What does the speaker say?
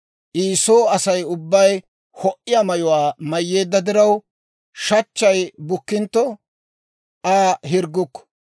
I soo Asay ubbay ho"iyaa mayuwaa mayyeedda diraw, shachchay bukkintto, Aa hirggukku.